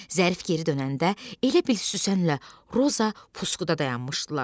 Zərif geri dönəndə elə bil Süsənlə Roza puskuda dayanmışdılar.